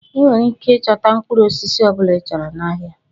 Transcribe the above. Ị nwere ike ịchọta mkpụrụ osisi ọ bụla ịchọrọ n'ahịa.